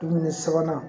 Dumuni sabanan